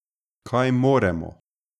Kaj moremo ...